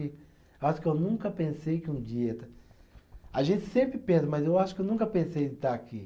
Eu acho que eu nunca pensei que um dia. A gente sempre pensa, mas eu acho que eu nunca pensei de estar aqui.